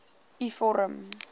u vorm